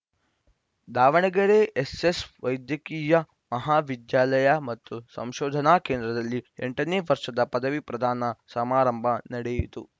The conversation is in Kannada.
ದಾವಣಗೆರೆ ಎಸ್ಸೆಸ್‌ ವೈದ್ಯಕೀಯ ಮಹಾ ವಿದ್ಯಾಲಯ ಮತ್ತು ಸಂಶೋಧನಾ ಕೇಂದ್ರದಲ್ಲಿ ಎಂಟನೇ ವರ್ಷದ ಪದವಿ ಪ್ರದಾನ ಸಮಾರಂಭ ನಡೆಯಿತು